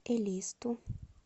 элисту